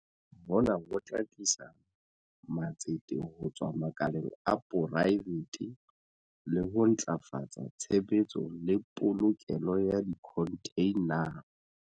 Hona ho tla tlisa matsete ho tswa makaleng a poraefete le ho ntlafatsa tshebetso le polokelo ya dikhontheina.